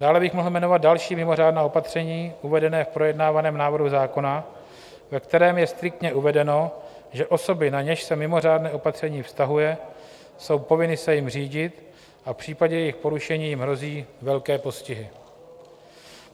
Dále bych mohl jmenovat další mimořádná opatření uvedená v projednávaném návrhu zákona, ve kterém je striktně uvedeno, že osoby, na něž se mimořádné opatření vztahuje, jsou povinny se jím řídit a v případě jejich porušení jim hrozí velké postihy.